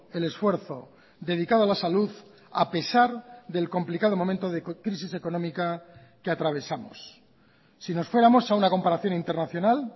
el esfuerzo dedicado a la salud a pesar del complicado momento de crisis económica que atravesamos si nos fuéramos a una comparación internacional